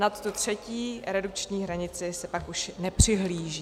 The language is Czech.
Na tu třetí redukční hranici se pak už nepřihlíží.